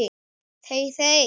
þey þey!